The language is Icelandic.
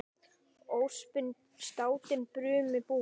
Öspin státin brumi búin.